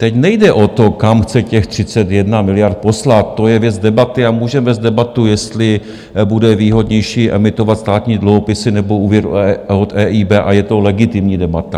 Teď nejde o to, kam chce těch 31 miliard poslat, to je věc debaty a můžeme vést debatu, jestli bude výhodnější emitovat státní dluhopisy, nebo úvěr od EIB, a je to legitimní debata.